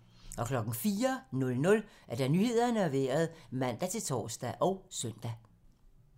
04:00: Nyhederne og Vejret (man-tor og søn)